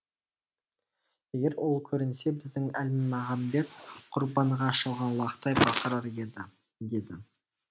егер ол көрінсе біздің әлмағамбет құрбанға шалған лақтай бақырар еді деді